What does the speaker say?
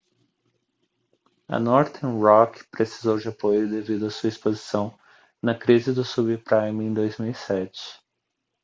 a northern rock precisou de apoio devido a sua exposição na crise do subprime em 2007